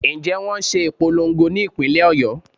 Ǹjẹ́ wón ṣe ìpolongo ní ìpínlè Ọ̀yọ́.